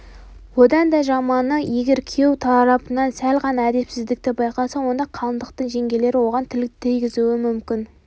онан да жаманы егер күйеу тарапынан сәл ғана әдепсіздікті байқаса онда қалыңдықтың жеңгелері оған тіл тигізуі мүмкін